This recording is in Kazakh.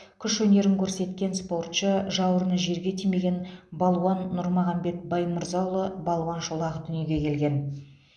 күш өнерін көрсеткен спортшы жауырыны жерге тимеген балуан нұрмағамбет баймырзаұлы балуан шолақ дүниеге келген